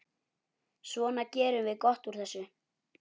Svona, gerum gott úr þessu.